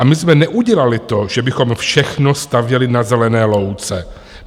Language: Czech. "A my jsme neudělali to, že bychom všechno stavěli na zelené louce.